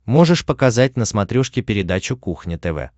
можешь показать на смотрешке передачу кухня тв